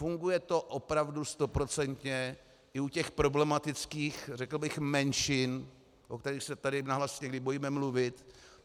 Funguje to opravdu stoprocentně i u těch problematických, řekl bych, menšin, o kterých se tady nahlas někdy bojíme mluvit.